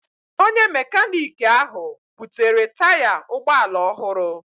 Onye mekaniki ahụ butere taya ụgbọ ala ọhụrụ.